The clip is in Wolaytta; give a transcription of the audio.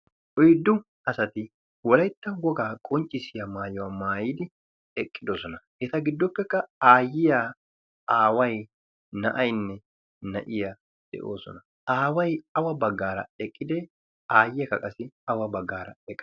oyddu asati wolaytta wogaa qonccissiya maayuwaa maayidi eqqidosona. eta giddoppekka aayyiya aawai na'ainne na'iya de'oosona aawai awa baggaara eqqide aayye ka qasi awa baggaaraqi?